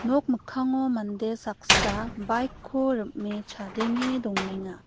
nok mikkango mande saksa bike-ko rim·e chadenge dongenga.